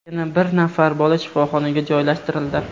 Yana bir nafar bola shifoxonaga joylashtirildi.